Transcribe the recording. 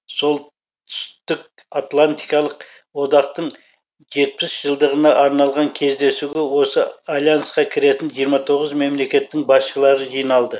сол түстік атлантикалық одақтың жетпіс жылдығына арналған кездесуге осы альянсқа кіретін жиырма тоғыз мемлекеттің басшылары жиналды